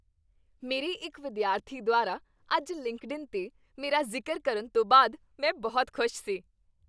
ਮੇਰੇ ਇੱਕ ਵਿਦਿਆਰਥੀ ਦੁਆਰਾ ਅੱਜ ਲਿੰਕਡਇਨ 'ਤੇ ਮੇਰਾ ਜ਼ਿਕਰ ਕਰਨ ਤੋਂ ਬਾਅਦ ਮੈਂ ਬਹੁਤ ਖੁਸ਼ ਸੀ।